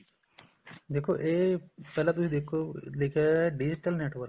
ਦੇਖੋ ਇਹ ਪਹਿਲਾਂ ਤੁਸੀਂ ਦੇਖੋ ਲਿਖਿਆ digital network